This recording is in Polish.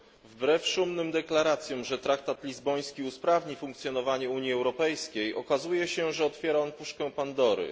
Wbrew szumnym deklaracjom, że traktat lizboński usprawni funkcjonowanie Unii Europejskiej, okazuje się, że otwiera on puszkę Pandory.